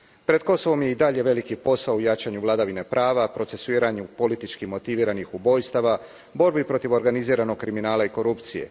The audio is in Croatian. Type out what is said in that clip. Pred Kosovom je i dalje veliki posao u jačanju vladavine prava, procesuiranju politički motiviranih ubojstava, borbi protiv organiziranog kriminala i korupcije.